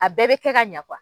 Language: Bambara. A bɛɛ bɛ kɛ ka ɲa .